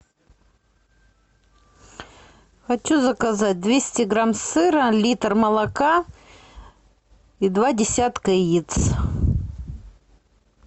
хочу заказать двести грамм сыра литр молока и два десятка яиц